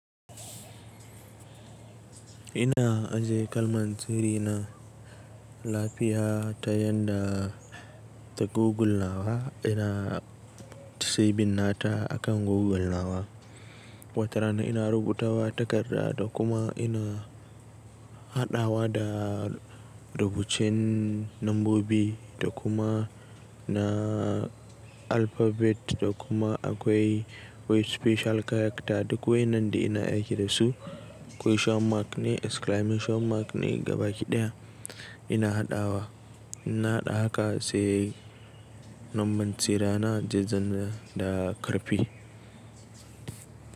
Ina ajiye kalmantirina lafiya ta yanda ta Google nawa, ina saving nata akan Google nawa. Watarana ina rubutawa takarda da kuma ina haɗawa da rubucen lambobi da kuma na alphabet da kuma akwai, akwai special character duk wai nan da ina aiki da su. Question mark ne, exclamation mark ne gabaki ɗaya ina haɗawa. Ina haɗa haka sai lambantirana zai zana da ƙarfi.